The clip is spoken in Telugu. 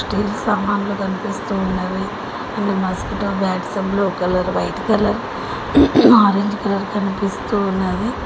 స్టీల్ సామాన్లు కన్పిస్తూ ఉన్నవి and mosquito bats blue colour white colour orange colour కనిపిస్తూ ఉన్నవి.